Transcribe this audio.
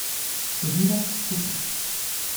Hodiva skupaj.